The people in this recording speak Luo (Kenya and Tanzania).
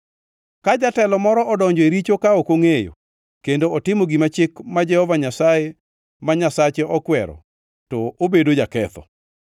“ ‘Ka jatelo moro odonjo e richo ka ok ongʼeyo kendo otimo gima chik ma Jehova Nyasaye ma Nyasache okwero to obedo jaketho.